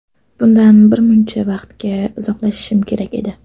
Bundan bir muncha vaqtga uzoqlashishim kerak edi.